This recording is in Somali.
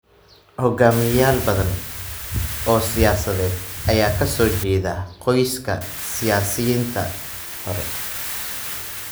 Hogaamiyeyaal badan oo siyaasadeed ayaa ka soo jeeda qoysaskii siyaasiyiintii hore.